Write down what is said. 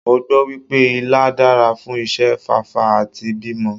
Mo gbọ́ wípé Ilá dára fún ìṣe fáfá àti bímọ.